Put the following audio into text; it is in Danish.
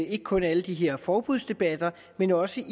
ikke kun i alle de her forbudsdebatter men også